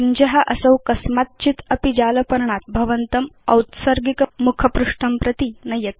पिञ्ज असौ कस्मात् चित् अपि जालपर्णात् भवन्तम् औत्सर्गिक मुखपृष्ठं प्रति नयेत्